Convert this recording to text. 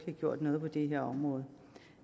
har gjort noget på det her område